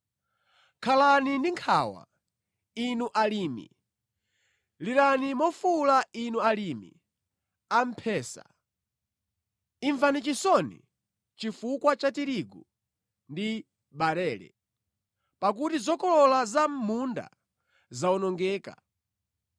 Khalani ndi nkhawa, inu alimi, lirani mofuwula inu alimi a mphesa; imvani chisoni chifukwa cha tirigu ndi barele, pakuti zokolola za mʼmunda zawonongeka.